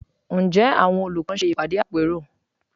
Ǹjẹ́ àwọn olùkọ́ ń ṣe ìpàdé àpérò?